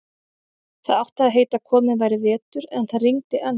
Það átti að heita að kominn væri vetur, en það rigndi enn.